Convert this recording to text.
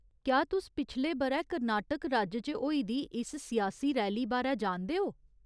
क्या तुस पिछले ब'रै कर्नाटक राज्य च होई दी इस सियासी रैली बारै जानदे ओ ?